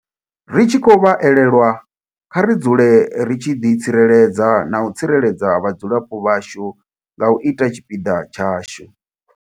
Ri tshi khou vha elelwa, kha ri dzule ri tshi ḓi tsireledza na u tsireledza vhadzulapo vhashu nga u ita tshipiḓa tshashu.